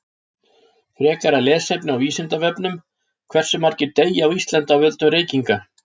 Frekara lesefni á Vísindavefnum: Hversu margir deyja á Íslandi af völdum reykinga?